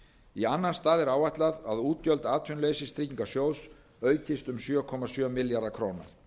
í annan stað er áætlað að útgjöld atvinnuleysistryggingasjóðs aukist um sjö komma sjö milljarða króna